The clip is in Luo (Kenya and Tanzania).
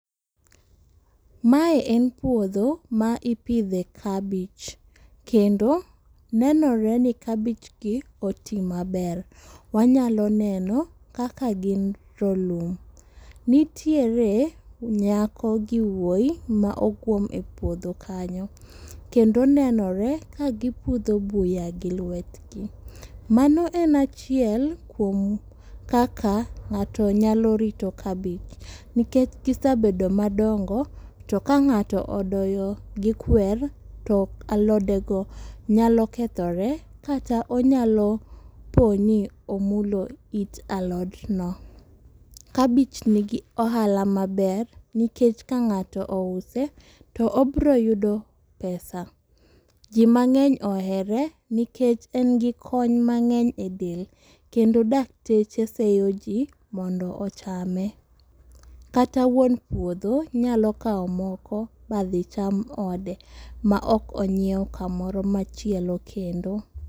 Ma en puodho ma ipidhe kabich. Kendo nenore ni kabich gi oti maber. Wanyalo neno kaka gin rolum. Nitiere nyako gi wuoyi ma oguom e puodhon kanyo kendo nenore ka gipudho buya gi lwet gi. Mano en achiel kuom kaka ng'ato nyalo rito kabich. Nikech kisebedo madongo to ka ng'ato odoyo gi kwer to alode go nyalo kethore kata onyalo po ni omulo it alot no. Kabich nigi ohala maber nikech ka ng'ato ouse to obiro yudo pesa. Ji mang'eny ohere nikech en gi kony mang'eny e del. Kendo dakteche seyo ji mondo ochame. Kata wuon puodho nyalo kawo moko ma dhi cham ode ma ok onyiew kamoro machielo kendo.